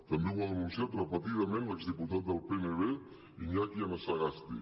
també ho ha denunciat repetidament l’exdiputat del pnv iñaki anasagasti